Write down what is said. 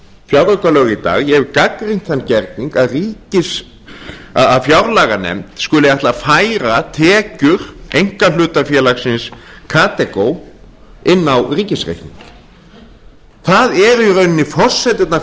fjáraukalög í dag ég hef gagnrýnt þann gerning að fjárlaganefnd skuli ætla að færa tekjur einkahlutafélagsins kadeco inn á ríkisreikning forsendurnar